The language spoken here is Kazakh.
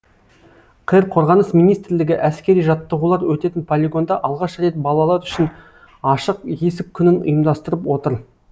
қр қорғаныс министрлігі әскери жаттығулар өтетін полигонда алғаш рет балалар үшін ашық есік күнін ұйымдастырып отыр